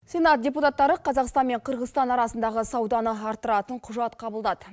сенат депутаттары қазақстан мен қырғызстан арасындағы сауданы арттыратын құжат қабылдады